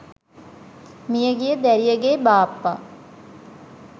මියගිය දැරියගේ බාප්පා